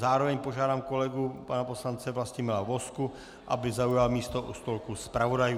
Zároveň požádám kolegu pana poslance Vlastimila Vozku, aby zaujal místo u stolku zpravodajů.